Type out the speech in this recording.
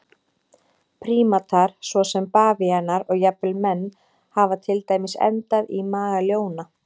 Prímatar svo sem bavíanar og jafnvel menn hafa til dæmis endað í maga ljóna.